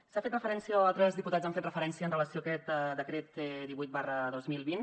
s’ha fet referència o altres diputats han fet referència amb relació amb aquest decret divuit dos mil vint